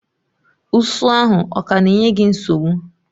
Ụsụ ahụ ọ ka na-enye gị nsogbu?